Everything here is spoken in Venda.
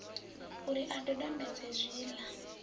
u ri a dodombedze zwiḽa